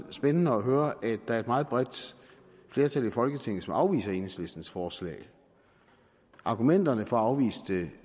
spændende at høre at der er et meget bredt flertal i folketinget som afviser enhedslistens forslag argumenterne for at afvise det